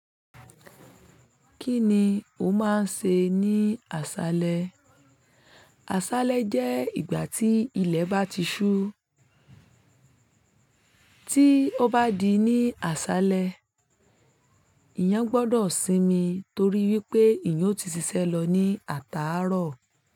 Kíni ó máa ń se ní àsálẹ́? Àsálẹ́ jẹ́ ìgbà tí ilẹ̀ bá ti ṣú. Tí ó bá di ní àsálẹ́, èèyàn gbọ́dọ̀ sinmi torí wípé èèyàn ó ti sisẹ́ lọ ní ataárọ̀